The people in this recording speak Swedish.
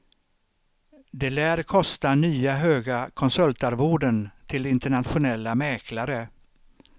Det lär kosta nya höga konsultarvoden till internationella mäklare.